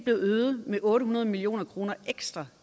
øget med otte hundrede million kroner ekstra